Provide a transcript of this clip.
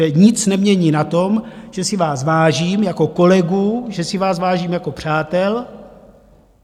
To nic nemění na tom, že si vás vážím jako kolegů, že si vás vážím jako přátel.